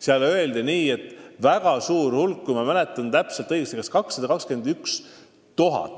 Seal öeldi, et väga suur hulk pensionäre – kui ma mäletan õigesti, siis 221 000